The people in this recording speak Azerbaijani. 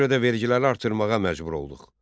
Ona görə də vergiləri artırmağa məcbur olduq.